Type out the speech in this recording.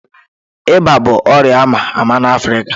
Ịba bụ ọrịa a ma ama n'Afrịka